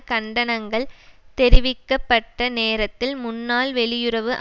கண்டனங்கள் தெரிவிக்க பட்ட நேரத்தில் முன்னாள் வெளியுறவு